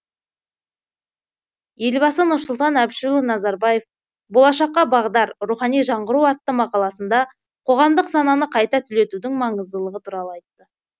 елбасы нұрсұлтан әбішұлы назарбаев болашаққа бағдар рухани жаңғыру атты мақаласында қоғамдық сананы қайта түлетудің маңыздылығы туралы айтты